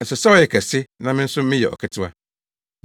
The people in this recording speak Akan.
Ɛsɛ sɛ ɔyɛ ɔkɛse na me nso meyɛ ɔketewa.